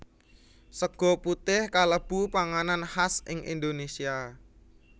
Sega putih kalebu panganan khas ing Indonesia